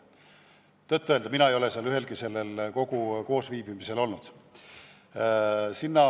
Tõtt-öelda mina ei ole ühelgi selle kogu koosviibimisel olnud.